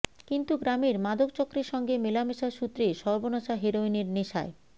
কিন্তু গ্রামের মাদকচক্রের সঙ্গে মেলামেশার সূত্রে সর্বনাশা হেরোইনের নেশায়